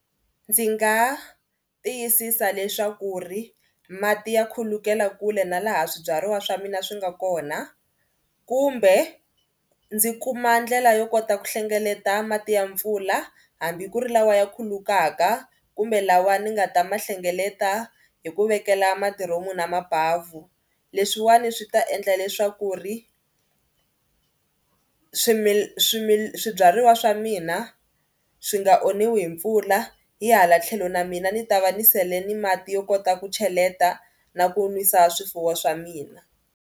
Ndzi nga tiyisisa leswaku ri mati ya khulukela kule na laha swibyariwa swa mina swi nga kona kumbe ndzi kuma ndlela yo kota ku hlengeleta mati ya mpfula hambi ku ri lawa ya khulukaka kumbe lawa ni nga ta ma hlengeleta hi ku vekela madiromu na mabavhu. Leswiwani swi ta endla leswaku ri swibyariwa swa mina swi nga onhiwa hi mpfula hi hala tlhelo na mina ni ta va ni sele ni mati yo kota ku cheleta na ku nwisa swifuwo swa mina.